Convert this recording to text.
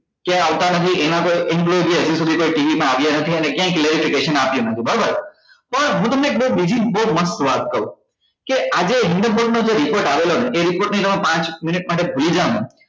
ક્યાય આવતા નથી એમાં પણ હજુ સુધી કોઈ TV માં આવ્યા નથી અને ક્યાય આપ્યો નથી બરોબર પણ હું તમને બઉ બીજી બઉ મસ્ત વાત કરું કે આજે હિંદુ નો જે report આવેલો ને એ report ને તમે પાંચ minute માટે ભૂલી જાઓ ને